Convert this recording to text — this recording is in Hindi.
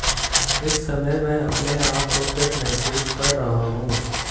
इस समय मैं अपने आप को फिट महसूस कर रहा हूं